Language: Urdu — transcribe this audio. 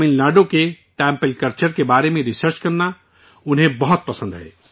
تمل ناڈو کے ٹیمپل کلچر کے بارے میں ریسرچ کرنا انہیں بہت پسند ہے